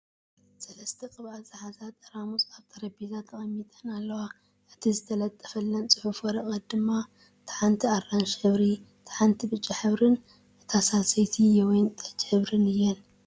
ሰለስተ ቕብኣት ዝሓዘ ጠራሙዝ ኣብ ጠረቤዛ ተቐሚጠን ኣለዋ ፡ እቲ ተለጠፈለን ፅሑፍ ወረቐት ድማ እታ ሓንቲ ኣራንሺ ሕብሪ ፣ እታ ሓንቲ ብጫ ሕብሪን እታ ሳልሰይቲ የወይን ጠጅ ሕብሪ እዩ ።